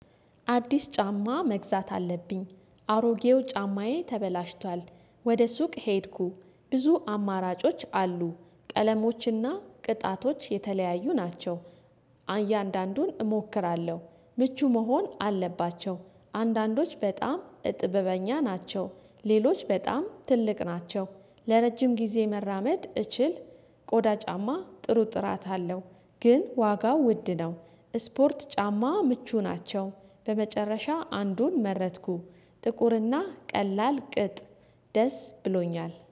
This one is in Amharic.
አዲስ ጫማ መግዛት አለብ፤። አሮጌው ጫማዬ ተበላሽቷል ወደ ሱቅ ሄድኩ። ብዙ አማራጮች አሉ ቀለሞችና ቅጣቶች የተለያዩ ናቸው። እያንዳንዱን እሞክራለሁ፤ ምቹ መሆን አለባቸው አንዳንዶች በጣም እጥበበኛ ናቸው ሌሎች በጣም ትልቅ ናቸው ለረጅም ጊዜ መራመድ እችል። ቆዳ ጫማ ጥሩ ጥራት አለው ግን ዋጋው ውድ ነው። ስፖርት ጫማ ምቹ ናቸው በመጨረሻ አንዱን መረጥኩ። ጥቁርና ቀላል ቅጥ ደስ ብሎኛል፤